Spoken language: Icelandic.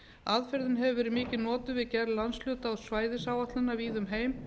aðferðin hefur verið mikið notuð við gerð landshluta og svæðisáætlana víða um heim